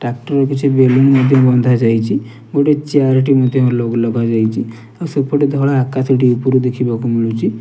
Tractor ରେ କିଛି balloon ମଧ୍ୟ ବନ୍ଧା ଯାଇଚି ଗୋଟେ ଚ୍ୟାର୍ ଟେ ମଧ୍ୟ ଲଗ ଲଗାଯାଇଚି ଆଉ ସେପଟେ ଧଳା ଆକାଶଟି ଉପୁରୁ ଦେଖିବାକୁ ମିଳୁଚି।